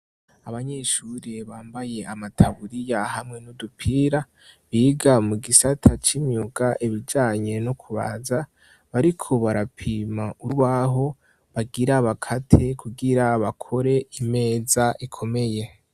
Abanyeshuri bambaye amataburiya hamwe n'udupira, biga mu gisata c'imyuka, ibijanye no kubaza. Bariko barapima urubaho bagira bakate kugira bakore imeza ikomeye.